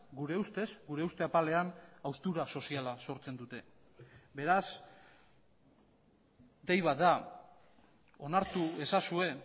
gure ustez gure uste apalean haustura soziala sortzen dute beraz dei bat da onartu ezazue